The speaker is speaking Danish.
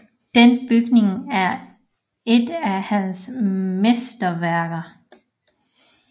Denne bygning er et af hans mesterværker